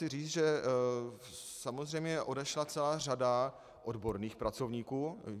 Chci říct, že samozřejmě odešla celá řada odborných pracovníků.